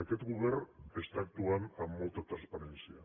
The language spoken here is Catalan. aquest govern està actuant amb molta transparència